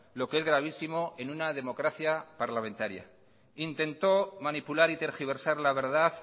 lo que es gravísimo en una democracia parlamentaria intentó manipular y tergiversar la verdad